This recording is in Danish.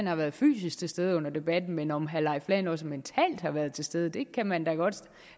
har været fysisk til stede under debatten men om herre leif lahn jensen også mentalt har været til stede kan man da godt